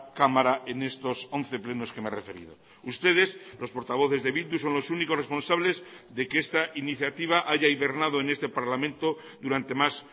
cámara en estos once plenos que me he referido ustedes los portavoces de bildu son los únicos responsables de que esta iniciativa haya hibernado en este parlamento durante más